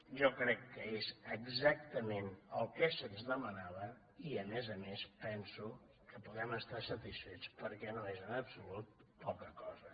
jo crec que és exactament el que se’ns demanava i a més a més penso que podem estar satisfets perquè no és en absolut poca cosa